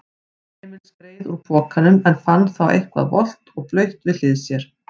Emil skreið úr pokanum en fann þá eitthvað volgt og blautt við hlið sér.